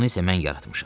Bunu isə mən yaratmışam.